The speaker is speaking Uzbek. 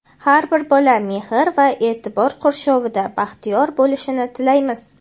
Har bir bola mehr va e’tibor qurshovida baxtiyor bo‘lishini tilaymiz!.